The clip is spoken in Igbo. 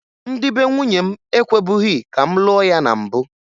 Ndị be nwunye m ekwebughi ka m lụọ ya na mbụ